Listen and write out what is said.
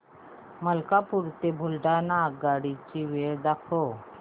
मलकापूर ते बुलढाणा आगगाडी ची वेळ दाखव